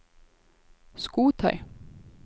skotøy